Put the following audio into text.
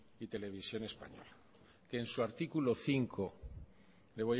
televisión española que en su artículo cinco